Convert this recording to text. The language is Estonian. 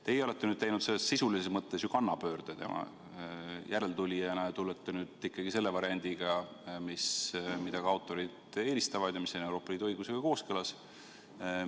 Teie olete teinud sisulises mõttes ju kannapöörde tema järeltulijana ja tulete nüüd meie ette ikkagi selle variandiga, mida ka autorid eelistavad ja mis on Euroopa Liidu õigusega kooskõlas.